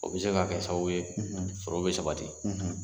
O bɛ se ka kɛ sababu ye sɔrɔ bɛ sabati